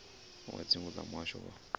wa dzingu wa muhasho wa